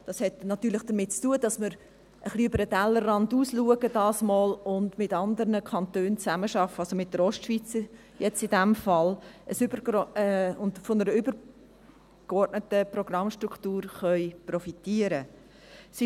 Das hat natürlich damit zu tun, dass wir diesmal etwas über den Tellerrand hinausschauen und mit anderen Kantonen zusammenarbeiten, also in diesem Fall mit der Ostschweiz, und von einer übergeordneten Programmstruktur profitieren können.